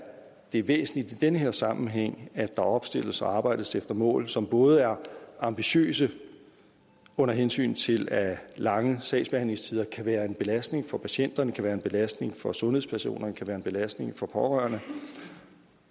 det er væsentligt i den her sammenhæng at der opstilles og arbejdes efter mål som både er ambitiøse under hensyn til at lange sagsbehandlingstider kan være en belastning for patienterne kan være en belastning for sundhedspersonerne kan være en belastning for de pårørende